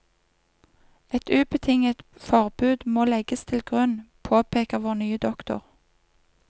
Et ubetinget forbud må legges til grunn, påpeker vår nye doktor.